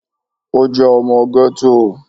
Ó jẹ́ ọmọ gẹ́tò